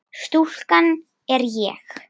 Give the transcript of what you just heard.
Stúlkan er ég.